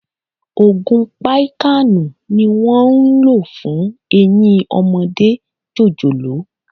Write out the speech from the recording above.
Ògùn píkàànù ni wón ń lò fún Eyín ọmọdé jòjòló.